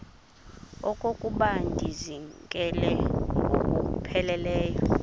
okokuba ndizinikele ngokupheleleyo